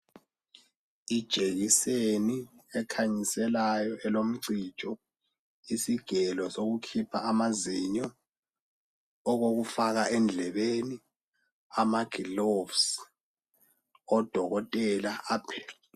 Ijekiseni ekhanyiselayo elomcijo, isigelo sokukhipha amazinyo, okokufaka endlebeni, amagilovisi, odokotela.